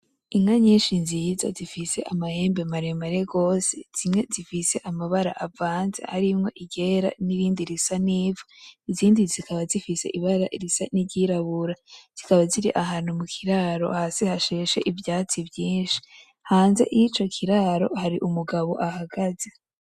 Inka nyinshi nziza zifise amahembe maremare rwose zimwe zifise amabara avanze harimo iryera nirindi risa nkivu i,zindi zikaba zifise ibara risa niryirabura ,zikaba zirahantu mukiraro hasi hasheshe ivyatsi vyinshi hanze yicokiraro hari umugabo ahagaze.